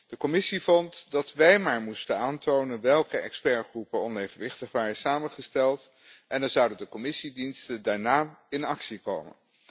De Commissie vond dat wij maar moesten aantonen welke expertgroepen onevenwichtig waren samengesteld en dan zouden de Commissiediensten daarna in actie komen.